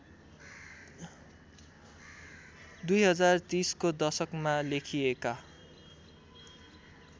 २०३०को दशकमा लेखिएका